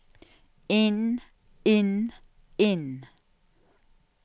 inn inn inn